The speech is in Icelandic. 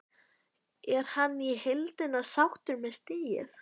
Er hann í heildina sáttur með stigið?